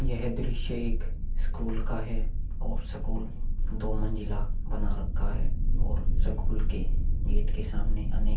यह दृश्य एक स्कूल का है और स्कूल दो मंजिला बना रखा है और स्कूल के गेट के सामने अनेक--